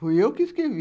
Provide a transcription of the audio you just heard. Fui eu que escrevi.